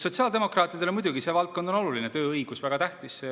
Sotsiaaldemokraatidele on muidugi see valdkond oluline, tööõigus on väga tähtis.